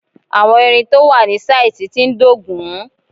Àwọn ìrìn tó wà ní sáìtì tí ń dógùn-ún